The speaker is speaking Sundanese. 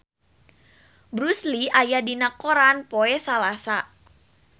Bruce Lee aya dina koran poe Salasa